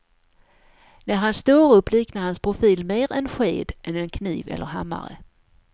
När han står upp liknar hans profil mer en sked än en kniv eller hammare.